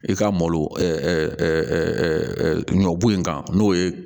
I ka malo ɲɔ bo in kan n'o ye